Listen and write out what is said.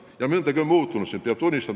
Ja tuleb tunnistada, et mõndagi on siin muutunud.